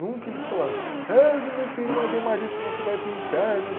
Nunca eles falaram, reza o meu filho uma ave maria, senão você vai para o inferno.